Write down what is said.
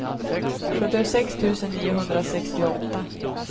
sjuttiosex tusen niohundrasextioåtta